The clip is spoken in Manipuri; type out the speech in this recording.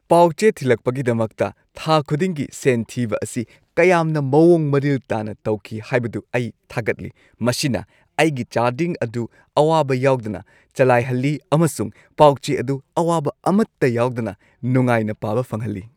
ꯄꯥꯎ-ꯆꯦ ꯊꯤꯜꯂꯛꯄꯒꯤꯗꯃꯛꯇ ꯊꯥ ꯈꯨꯗꯤꯡꯒꯤ ꯁꯦꯟ-ꯊꯤꯕ ꯑꯁꯤ ꯀꯌꯥꯝꯅ ꯃꯑꯣꯡ ꯃꯔꯤꯜ ꯇꯥꯅ ꯇꯧꯈꯤ ꯍꯥꯏꯕꯗꯨ ꯑꯩ ꯊꯥꯒꯠꯂꯤ ꯫ ꯃꯁꯤꯅ ꯑꯩꯒꯤ ꯆꯥꯗꯤꯡ ꯑꯗꯨ ꯑꯋꯥꯕ ꯌꯥꯎꯗꯅ ꯆꯂꯥꯏꯍꯜꯂꯤ ꯑꯃꯁꯨꯡ ꯄꯥꯎ-ꯆꯦ ꯑꯗꯨ ꯑꯋꯥꯕ ꯑꯃꯠꯇ ꯌꯥꯎꯗꯅ ꯅꯨꯡꯉꯥꯏꯅ ꯄꯥꯕ ꯐꯪꯍꯜꯂꯤ ꯫